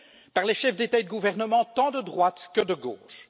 par les chefs d'État et de gouvernement, tant de droite que de gauche.